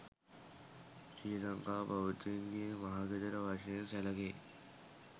ශ්‍රී ලංකා බෞද්ධයින්ගේ මහගෙදර වශයෙන් සැලකේ.